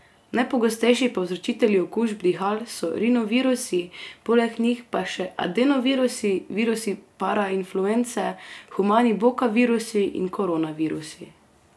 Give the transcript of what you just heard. Najpogostejši povzročitelji okužb dihal so rinovirusi, poleg njih pa še adenovirusi, virusi parainfluence, humani bokavirusi in koronavirusi.